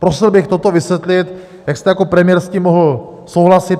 Prosil bych toto vysvětlit, jak jste jako premiér s tím mohl souhlasit.